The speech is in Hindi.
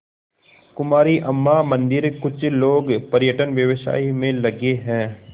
कुमारी अम्मा मंदिरकुछ लोग पर्यटन व्यवसाय में लगे हैं